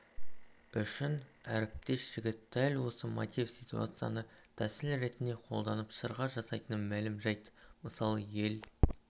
үшін әріптес жігіт дәл осы мотив-ситуацияны тәсіл ретінде қолданып шырға жасайтыны мәлім жайт мысалы ел